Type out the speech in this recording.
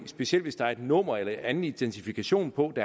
specielt hvis der er et nummer eller en anden identifikation på det